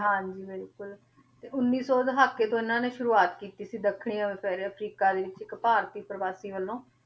ਹਾਂਜੀ ਬਿਲਕੁਲ ਤੇ ਉੱਨੀ ਸੋ ਦਹਾਕੇ ਤੋਂ ਇਹਨਾਂ ਨੇ ਸ਼ੁਰੂਆਤ ਕੀਤੀ ਸੀ ਦੱਖਣੀ ਅਫਰ~ ਅਫ਼ਰੀਕਾ ਦੇ ਵਿੱਚ ਇੱਕ ਭਾਰਤੀ ਪ੍ਰਵਾਸੀ ਵੱਲੋਂ